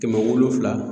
Kɛmɛ wolonwula